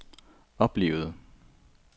oplevede